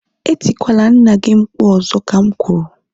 Etikwala nna gị mkpu ọzọ ka m kwuru!